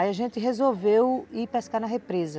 Aí a gente resolveu ir pescar na represa.